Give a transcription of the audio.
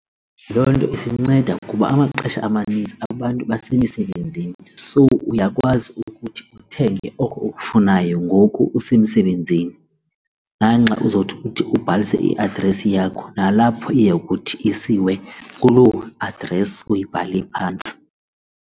Loo nto isinceda kuba amaxesha amaninzi abantu besemisebenzini. So uyakwazi ukuthi uthenge oko ukufunayo ngoku usemsebenzini nanxa uzothi ukuthi ubhalise i-address yakho nalapho iyokuthi isiwe kuloo address uyibhale phantsi.